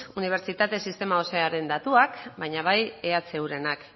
unibertsitate sistema osoaren datuak baina bai ehurenak